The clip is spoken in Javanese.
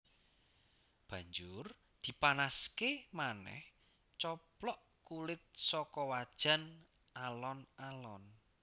Banjur dipanaské manèh coplok kulit saka wajan alon alon